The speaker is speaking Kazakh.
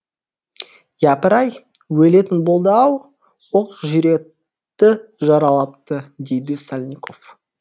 япыр ай өлетін болды ау оқ жүректі жаралапты дейді сальников